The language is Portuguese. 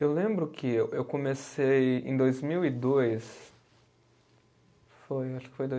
Eu lembro que eu comecei em dois mil e dois, foi, acho que foi dois